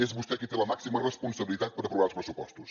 és vostè qui té la màxima responsabilitat per aprovar els pressupostos